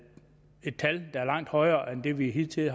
var langt højere end det vi hidtil